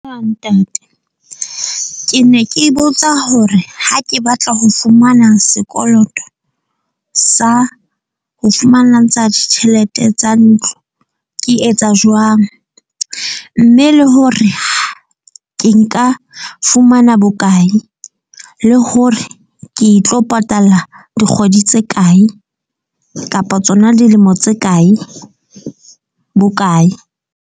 ntate, ke ne ke botsa hore ha ke batla ho fumana sekoloto sa ho fumana ntsha ditjhelete tsa ntlo. Ke etsa jwang. Mme le hore ke nka fumana bokae le hore ke tlo patala dikgwedi tse kae kapa tsona dilemo tse kae bokae.